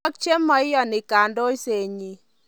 Ak chema iyani kandoisetnyi.